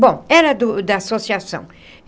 Bom, era do da associação.